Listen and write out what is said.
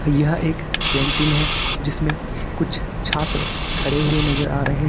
यह एक कैंटीन है जिसमें कुछ छात्र खड़े हुए नजर आ रहे हैं।